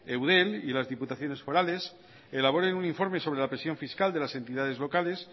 eudel y las diputaciones forales elaboren un informe sobre la presión fiscal de las entidades locales